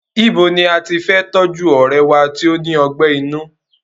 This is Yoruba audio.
Ibo ní a tí fe tọ́jú ọ̀rẹ́e wá tó ní ọgbẹ́ inú?